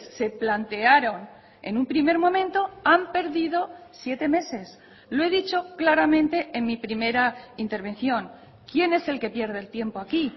se plantearon en un primer momento han perdido siete meses lo he dicho claramente en mi primera intervención quién es el que pierde el tiempo aquí